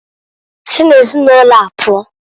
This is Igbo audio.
Si na ezinụlọa pụọǃ